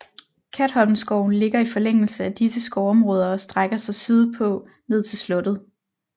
Katholmskoven ligger i forlængelse af disse skovområder og strækker sig syd på ned til slottet